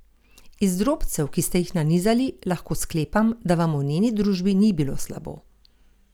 Iz drobcev, ki ste jih nanizali, lahko sklepam, da vam v njeni družbi ni bilo slabo.